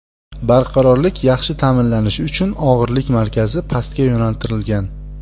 Barqarorlik yaxshi ta’minlanishi uchun og‘irlik markazi pastga yo‘naltirilgan.